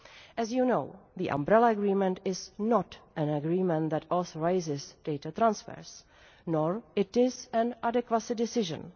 As you know, the Umbrella Agreement is not an agreement that authorises data transfers, nor is it an adequacy decision.